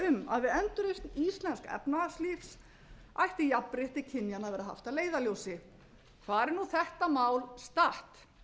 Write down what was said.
að við endurreisn íslensks efnahagslífs ætti jafnrétti kynjanna að vera haft að leiðarljósi hvar er þetta mál statt